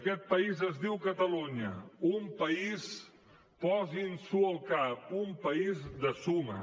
aquest país es diu catalunya un país posin s’ho al cap un país de suma